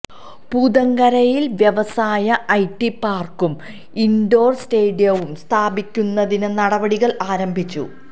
പൂതങ്കരയിൽ വ്യവസായ ഐടി പാർക്കും ഇൻഡോർ സ്റ്റേഡിയവും സ്ഥാപിക്കുന്നതിന് നടപടികൾ ആരംഭിച്ചു